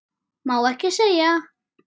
Má ekki segja.